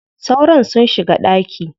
Sauron sun shiga ɗaki.